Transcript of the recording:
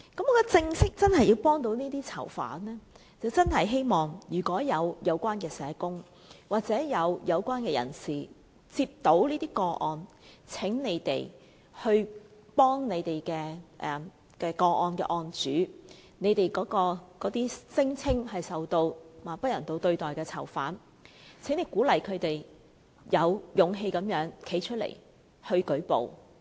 如果真的要幫助這些囚犯，我希望有關社工或有關人士接獲這些個案時，請他們幫助那些當事人、那些聲稱受不人道對待的囚犯，鼓勵他們有勇氣站出來舉報。